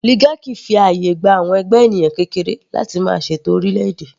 Oligarchy fi àyè gba àwọn ẹgbẹ́ ènìyàn kékeré láti máa ṣètò orílẹ̀ - èdè.